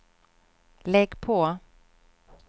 lägg på